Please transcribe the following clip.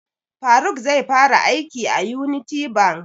Faruk zai fara aiki a Unity bank